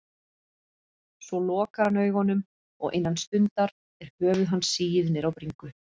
Svo lokar hann augunum og innan stundar er höfuð hans sigið niður á bringu.